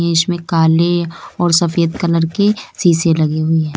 इसमें काले और सफेद कलर के सीसे लगी हुई है।